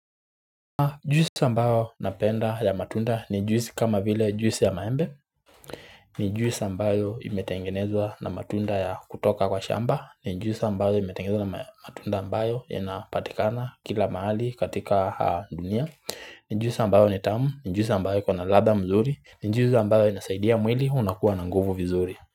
Juisi ambayo napenda ya matunda ni juisi kama vile juisi ya maembe ni juisi ambayo imetengenezwa na matunda ya kutoka kwa shamba ni juisi ambayo imetengenezwa na matunda ambayo yanapatikana kila mahali katika dunia ni juisi ambayo ni tamu, ni juisi ambayo iko na ladha nzuri ni juisi ambayo inasaidia mwili unakuwa na nguvu vizuri.